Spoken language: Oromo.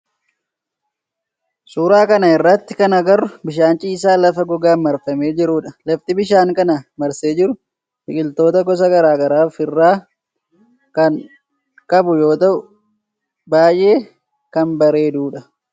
Suuraa kana irratti kan agarru bishaan ciisaa lafa gogaan marfamee jirudha. Lafti bishaan kana marsee jiru biqiltoota gosa garaa garaa of irraa kan qabu yoo ta'u baayyee kan bareedu dha.